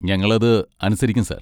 ഞങ്ങൾ അത് അനുസരിക്കും സാർ.